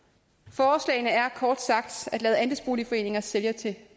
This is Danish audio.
forslagene er kort sagt at lade andelsboligforeninger sælge til